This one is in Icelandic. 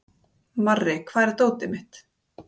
Marri, hvar er dótið mitt?